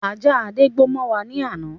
Ajá Adé gbó mọ wá ní ana.